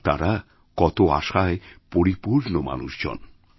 আর তারা কত আশায় পরিপূর্ণমানুষজন